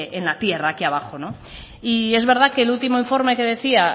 en la tierra aquí abajo y es verdad que el último informe que decía